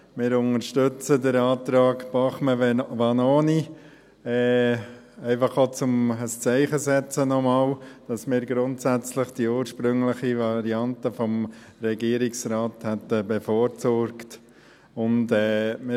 Wir unterstützen den Antrag Bachmann/Vanoni, einfach auch, um noch einmal ein Zeichen zu setzen, dass wir grundsätzlich die ursprüngliche Variante des Regierungsrates bevorzugt hätten.